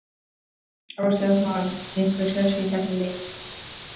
Á Stjarnan einhver séns í þessi lið?